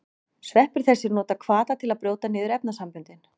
Sveppir þessir nota hvata til að brjóta niður efnasamböndin.